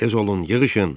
Tez olun, yığışın!